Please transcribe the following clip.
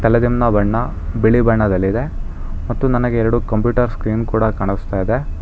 ಬೆಳೆದಿನ್ನ ಬಣ್ಣ ಬಿಳಿ ಬಣ್ಣದಲ್ಲಿದೆ ಮತ್ತು ನನಗೆ ಎರಡು ಕಂಪ್ಯೂಟರ್ ಸ್ಕ್ರೀನ್ ಕೂಡ ಕಾಣಿಸ್ತಾ ಇದೆ.